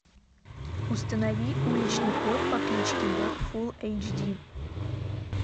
установи уличный кот по кличке боб фул эйч ди